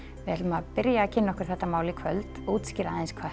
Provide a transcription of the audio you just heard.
við ætlum að kynna okkur þetta mál í kvöld útskýra hvað